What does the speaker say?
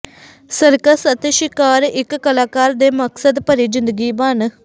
circus ਅਤੇ ਸ਼ਿਕਾਰ ਇਕ ਕਲਾਕਾਰ ਦੇ ਮਕਸਦ ਭਰੀ ਜ਼ਿੰਦਗੀ ਬਣ